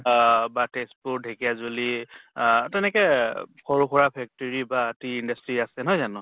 অহ বা তেজ্পুৰ ঢেকীয়াজুলি আহ্ তেনেকে সৰু সুৰা factory বা tea industry আছে, নহয় জানো?